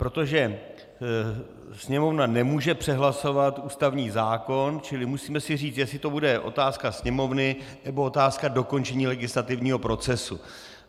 Protože Sněmovna nemůže přehlasovat ústavní zákon, čili musíme si říct, jestli to bude otázka Sněmovny, nebo otázka dokončení legislativního procesu.